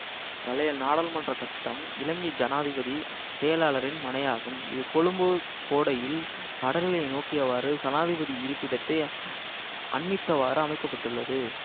பழைய நாடாளுமன்ற கட்டடம் இலங்கை சனாதிபதி செயலாளரின் மனையாகும் இது கொழும்பு கோடையில் கடலினை நோக்கியவாறு சனாதிபதி இருப்பிடத்தை அண்மித்தவாறு அமைக்க பட்டுள்ளது